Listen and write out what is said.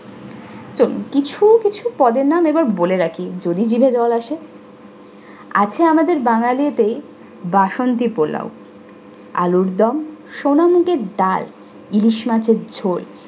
কিছু পদের নাম এবার বলে রাখি যদি জিভে জল আসে। আছে আমাদের বাঙ্গালীদের বাসন্তী পোলাও, আলুর দম, সোনামুগের ডাল, ইলিশ মাছের ঝোল